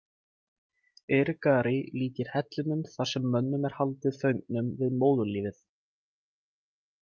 Irigaray líkir hellinum þar sem mönnum er haldið föngnum við móðurlífið.